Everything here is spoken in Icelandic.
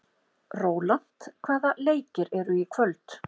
Rólant, hvaða leikir eru í kvöld?